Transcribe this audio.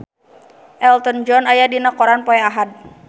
Elton John aya dina koran poe Ahad